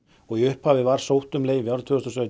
í upphafi var sótt um leyfi árið tvö þúsund og sautján